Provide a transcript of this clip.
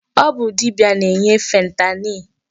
Ọ bụ dibia na-enye fentanyl.